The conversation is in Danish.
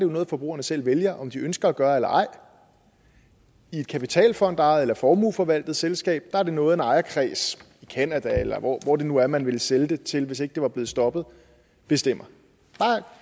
noget forbrugerne selv vælger om de ønsker at gøre eller ej i et kapitalfondejet eller formueforvaltet selskab er det noget en ejerkreds i canada eller hvor det nu er man ville sælge til hvis ikke det var blevet stoppet bestemmer